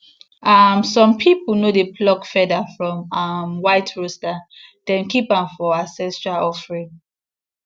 um some people no dey pluck feather from um white rooster dem keep am for ancestral offering